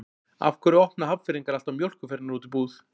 Af hverju opna Hafnfirðingar alltaf mjólkurfernur úti í búð?